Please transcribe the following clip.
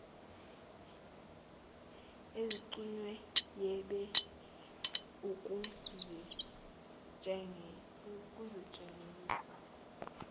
aziqh webe ukuzitshengisa